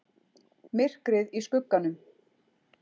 MYRKRIÐ Í SKUGGANUM